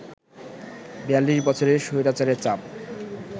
৪২ বছরের স্বৈরাচারের চাপ